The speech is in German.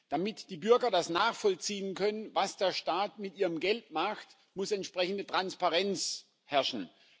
Damit die Bürger das nachvollziehen können, was der Staat mit ihrem Geld macht, muss entsprechende Transparenz herrschen.